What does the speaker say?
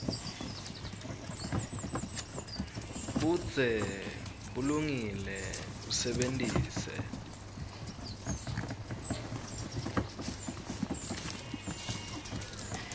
budze bulungile usebentise